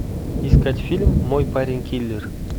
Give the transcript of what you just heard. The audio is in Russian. искать фильм мой парень киллер